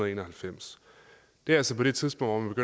en og halvfems det er altså på det tidspunkt